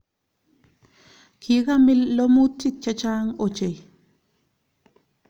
Kikamil lomutik che chang ochei